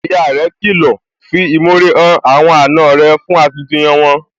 Ìyá rẹ̀ kìlọ̀, 'fi ìmore hàn àwọn àna rẹ̀ fún akitiyan wọn,